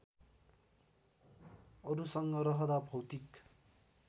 अरुसँग रहँदा भौतिक